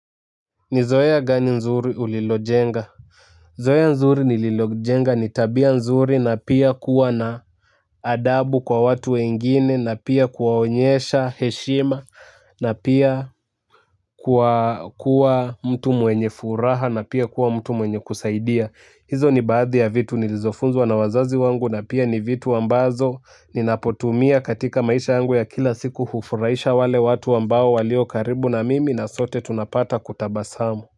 Ni zoea ya gani nzuri ulilojenga zoea nzuri nililojenga ni tabia nzuri na pia kuwa na adabu kwa watu wengine na pia kuwaonyesha heshima na pia kuwa kuwa mtu mwenye furaha na pia kuwa mtu mwenye kusaidia hizo ni baadhi ya vitu nilizofunzwa na wazazi wangu na pia ni vitu ambazo ninapotumia katika maisha yangu ya kila siku hufuraisha wale watu ambao walio karibu na mimi na sote tunapata kutabasamu. Kwa hiyo.